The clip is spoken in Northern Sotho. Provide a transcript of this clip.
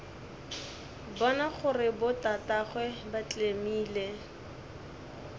bona gore botatagwe ba tlemile